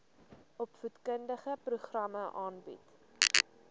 opvoedkundige programme aanbied